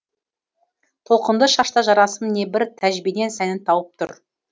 толқынды шашта жарасым небір тәжбенен сәнін тауып тұр